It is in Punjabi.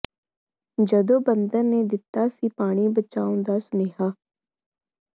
ਜਦੋਂ ਬਾਂਦਰ ਨੇ ਦਿੱਤਾ ਸੀ ਪਾਣੀ ਬਚਾਉਣ ਦਾ ਸੁਨੇਹਾ